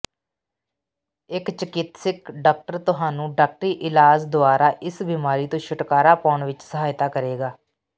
ਇੱਕ ਚਿਕਿਤਸਕ ਡਾਕਟਰ ਤੁਹਾਨੂੰ ਡਾਕਟਰੀ ਇਲਾਜ ਦੁਆਰਾ ਇਸ ਬਿਮਾਰੀ ਤੋਂ ਛੁਟਕਾਰਾ ਪਾਉਣ ਵਿੱਚ ਸਹਾਇਤਾ ਕਰੇਗਾ